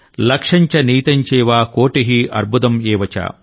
లక్షంచ నియుతంచైవ కోటిః అర్బుదమ్ ఏవచ